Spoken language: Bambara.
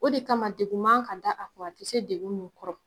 O de kama degun man ka da a kun a te se degun minnu kɔrɔ